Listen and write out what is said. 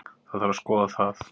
Það þarf að skoða það.